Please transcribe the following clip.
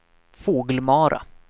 Fågelmara